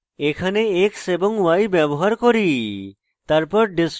এখানে x এবং y ব্যবহার করি